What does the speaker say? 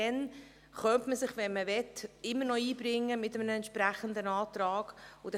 Dann könnte man sich, wenn man wollte, immer noch mit einem entsprechenden Antrag einbringen.